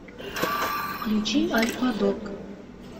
включи альфа дог